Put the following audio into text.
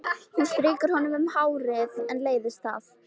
Hún strýkur honum um hárið en leiðist það.